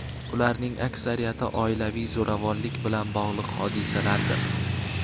ularning aksariyati oilaviy zo‘ravonlik bilan bog‘liq hodisalardir.